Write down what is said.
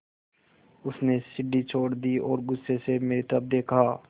उसने सीढ़ी छोड़ दी और गुस्से से मेरी तरफ़ देखा